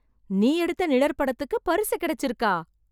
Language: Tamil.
நீ எடுத்த நிழற்படத்துக்கு பரிசு கிடைச்சுருக்கா?